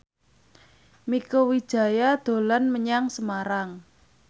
Mieke Wijaya dolan menyang Semarang